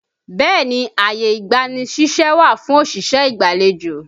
Bẹẹ ni, ààyè ìgbani ṣíṣẹ́ wà fún òṣìṣẹ́ ìgbàlejò